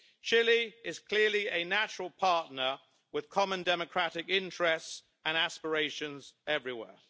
Chile is clearly a natural partner with common democratic interests and aspirations everywhere.